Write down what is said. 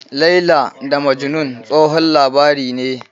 "Laila da Majnun", tsohon labari ne.